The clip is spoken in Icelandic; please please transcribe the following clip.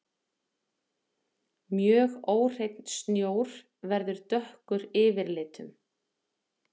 Mjög óhreinn snjór verður dökkur yfirlitum.